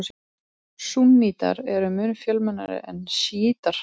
Súnnítar eru mun fjölmennari en sjítar.